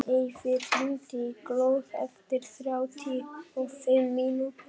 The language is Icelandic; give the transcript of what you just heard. Eyfi, hringdu í Glóð eftir þrjátíu og fimm mínútur.